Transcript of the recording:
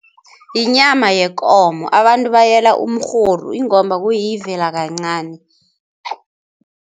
Yinyama yekomo, abantu bayela umrhoru ingomba kuyivela kancani.